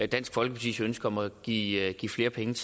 dansk folkepartis ønske om at give at give flere penge